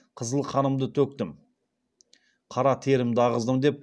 қызыл қанымды төктім қара терімді ағыздым деп